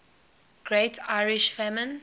great irish famine